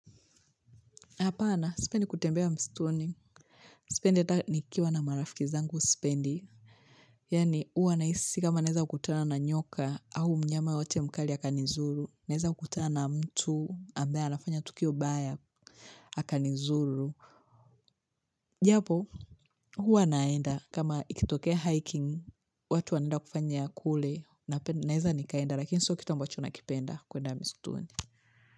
Hapana, sipendi kutembea mstuni. Sipendi ata ni kiwa na marafiki zangu sipendi. Yani huwa naisi kama naeza kutana na nyoka au mnyama wote mkali haka nizuru. Naeza kutana na mtu ambaye anafanya tukio baya haka nizuru. Japo huwa naenda kama ikitokea hiking, watu wanaenda kufanya kule naeza nikaenda. Lakini sio kitu ambacho nakipenda kuenda mstuni.